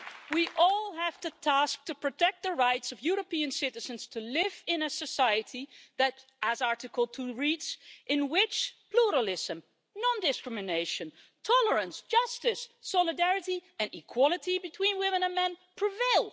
We all have the task of protecting the rights of European citizens to live today in a society, as Article 2 reads, in which pluralism, non-discrimination, tolerance, justice, solidarity and equality between women and men prevail'.